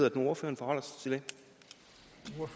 at ordføreren forholder